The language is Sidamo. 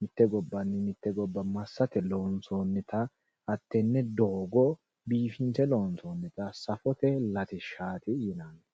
mitte gobbanni mitte gobba massate loonsoonnita hattenne doogo biifinse loonsoonnita safote latishshaati yineemmo